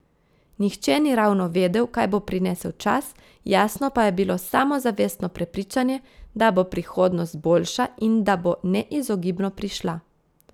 Nihče ni ravno vedel, kaj bo prinesel čas, jasno pa je bilo samozavestno prepričanje, da bo prihodnost boljša in da bo neizogibno prišla.